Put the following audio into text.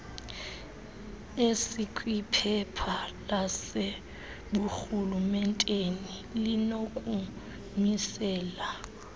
esikwiphepha laseburhulementeni linokumisela